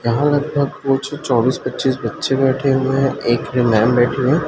यहां लगभग कुछ चौबीस पच्चीस बच्चे बैठे हुए हैं एक मैम बैठी हुई--